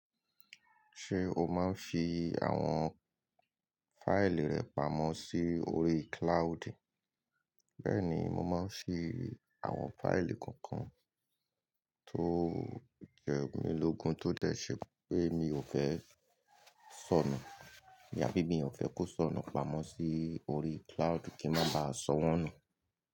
Ṣé o máa ń fi àwọn fáìlì rẹ pamọ́ sí orí cloud? Bẹ́ẹ̀ni, mo máa ń fi àwọn fáìlì kọọkan tó jẹ́ mílógun tó dẹ̀ ṣé pé mi ò fẹ́ sọnù, ìyá bíbí mi ò fẹ́ kó sọnù pamọ́ sí orí cloud kí ń má ba sọ wọ́n nù.